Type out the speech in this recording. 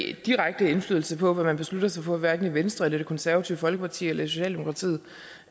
ikke direkte indflydelse på hvad man beslutter sig for hverken i venstre eller det konservative folkeparti eller socialdemokratiet